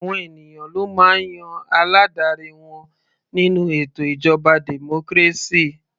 Àwọn ènìyàn ló máa ń yan aládarí wọn nínú ètò ìjọba democracy.